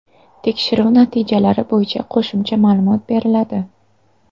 Tekshiruv natijalari bo‘yicha qo‘shimcha ma’lumot beriladi.